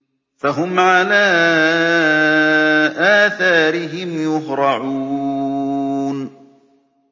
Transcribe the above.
فَهُمْ عَلَىٰ آثَارِهِمْ يُهْرَعُونَ